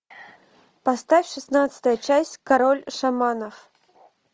поставь шестнадцатая часть король шаманов